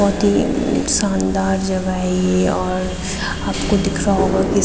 बहोत ही शानदार जगह है ये और आपको दिख रहा होगा की --